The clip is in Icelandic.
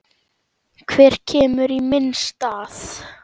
Hver kemur í minn stað?